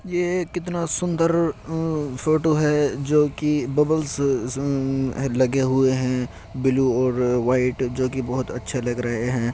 ये कितना सुन्दर फोटो है जोकि बबल्स लगे हुये हैं| ब्लू और व्हाइट जोकि बहुत अच्छे लग रहे हैं।